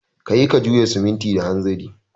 Ka yi ka juya simintin da hanzari